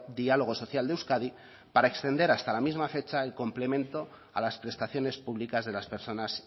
diálogo social de euskadi para extender hasta la misma fecha el complemento a las prestaciones públicas de las personas